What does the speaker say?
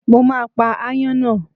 Mo máa pa ááyán náà.